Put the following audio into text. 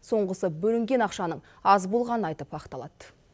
соңғысы бөлінген ақшаның аз болғанын айтып ақталады